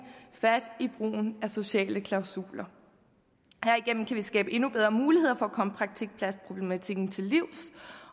fat i brugen af sociale klausuler herigennem kan vi skabe endnu bedre muligheder for at komme praktikpladsproblematikken til livs